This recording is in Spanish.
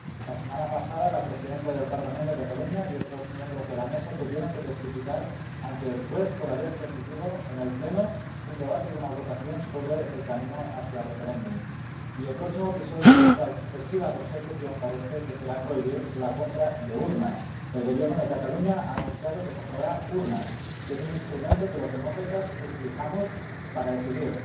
La semana pasada, la presidenta del Parlament de Cataluña y otros miembros de la mesa tuvieron que testificar ante el juez por haber permitido, en el pleno, un debate y una votación sobre el camino hacia el referéndum, y el próximo episodio de esta obsesiva persecución parece que será prohibir la compra de urnas —el Gobierno de Cataluña ha anunciado que comprará urnas, que es el instrumento que los demócratas utilizamos para decidir—.